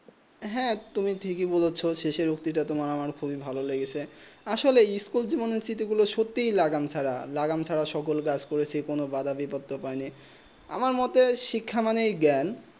হেঁ তুমি ঠিক হয় বলেছো শেষে উক্তি তা তোমার আমার ভালো লেগেছে আসলে যোবন চিৎ গুলু সত্যি লাগান ছাড়া লাগান ছাড়া সকল কাজ করেছি কোনো বাধা বিপত্তি নেই আমার মোটেই শিক্ষা মানে জ্ঞান